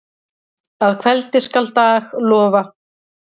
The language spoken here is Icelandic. Að kveldi skal dag lofa.